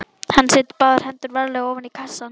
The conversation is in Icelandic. Hann setur báðar hendur varlega ofan í kassann.